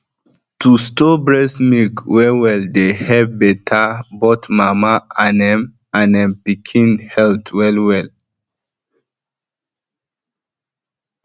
to store breast milk well dey help better both mama and ehm and ehm pikin health wellwell